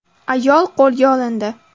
Ayol qo‘lga olindi.